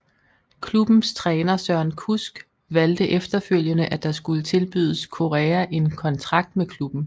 Klubbens træner Søren Kusk valgte efterfølgende at der skulle tilbydes Corea en kontrakt med klubben